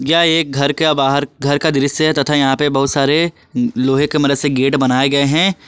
यह एक घर का बाहर घर का दृश्य है तथा यहां पे बहुत सारे लोहे के मदद से गेट बनाए गए हैं।